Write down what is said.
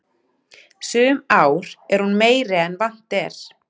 Sum ár er hún meiri en vant er.